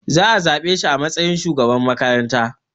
Zaa zaɓe shi a matsayin shugaban makaranta